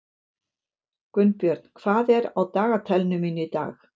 Gunnbjörn, hvað er á dagatalinu mínu í dag?